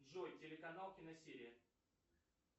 джой телеканал киносерия